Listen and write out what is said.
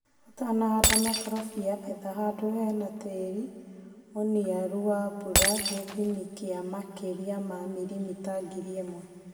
ũtanahanda mũkorofia etha handũhena tĩri mũniaru na mbura gĩthimi kĩa makĩria ma milimita ngiri imwe.